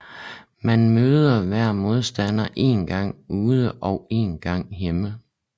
Man møder hver modstander én gang ude og én gang hjemme